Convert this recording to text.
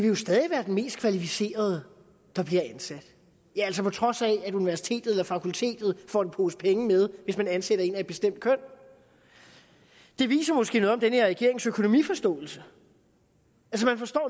jo stadig være den mest kvalificerede der bliver ansat ja altså på trods af at universitetet eller fakultetet får en pose penge med hvis man ansætter en person af et bestemt køn det viser måske noget om den her regerings økonomiforståelse